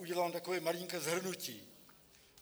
Udělám takové malinké shrnutí.